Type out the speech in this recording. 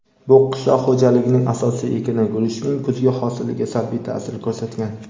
bu qishloq xo‘jaligining asosiy ekini — guruchning kuzgi hosiliga salbiy ta’sir ko‘rsatgan.